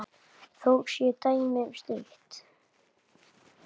Þó séu dæmi um slíkt.